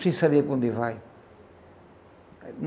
Sem saber para onde vai.